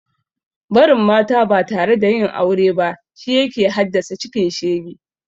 Barin mata ba tare da yin aure ba shi yake hadassa cikin shege